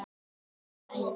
Það var æði.